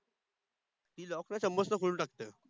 ती lock ला चाम्मच न खोलून टाकते